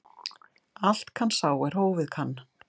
Allt kann sá er hófið kann.